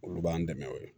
Olu b'an dɛmɛ o ye